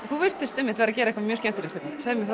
þú virtist vera að gera eitthvað skemmtilegt hérna segðu mér